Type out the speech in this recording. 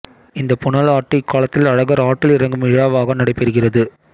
இந்தப் புனலாட்டு இக்காலத்தில் அழகர் ஆற்றில் இறங்கும் விழாவாக நடைபெறுகிறது